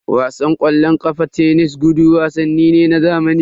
Wasan ƙwallon ƙafa, tenis, gudu wasanni ne na zamani.